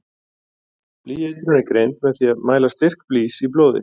Blýeitrun er greind með því að mæla styrk blýs í blóði.